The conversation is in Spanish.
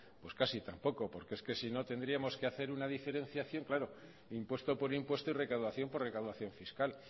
pues casi tampoco porque es que sino tendríamos que hacer una diferenciación claro impuesto por impuesto y recaudación por recaudación fiscal